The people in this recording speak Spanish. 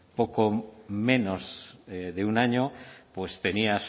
poco menos de un año pues tenía